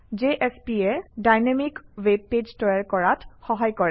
JSP এ dynamic web page তৈয়াৰ কৰাত সহায় কৰে